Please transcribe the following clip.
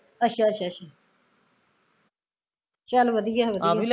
ਅੱਛਾ ਅੱਛਾ ਚੱਲ ਵਧੀਆ ਵਧੀਆ